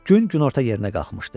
Gün günorta yerinə qalxmışdı.